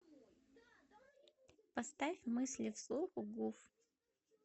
поставь мысли вслух гуф